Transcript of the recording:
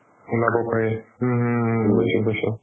ওলাব পাৰি হুম হুম হুম বুজিছো বুজিছো